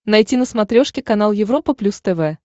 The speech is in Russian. найти на смотрешке канал европа плюс тв